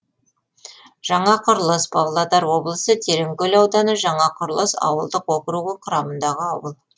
жаңақұрылыс павлодар облысы тереңкөл ауданы жаңақұрылыс ауылдық округі құрамындағы ауыл